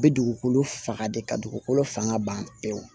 Bɛ dugukolo faga de ka dugukolo fanga ban pewu